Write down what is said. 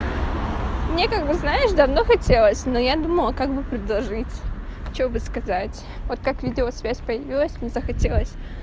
мне как бы знаешь давно хотелось но я думала как бы предложить чтобы сказать вот как видеосвязь появилась мне захотелось